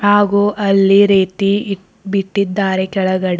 ಹಾಗೂ ಅಲ್ಲಿ ರೀತಿ ಇ ಬಿಟ್ಟಿದ್ದಾರೆ ಕೆಳಗಡೆ.